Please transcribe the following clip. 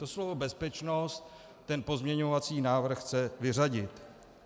- To slovo "bezpečnost" ten pozměňovací návrh chce vyřadit.